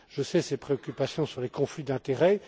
Je connais ses préoccupations sur les conflits d'intérêt.